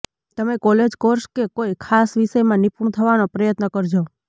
તમે college course કે કોઈ ખાસ વિષયમાં નિપુણ થવાનો પ્રયત્ન કરજો